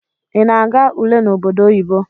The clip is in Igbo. Ị na-aga ule n'obodo oyibo?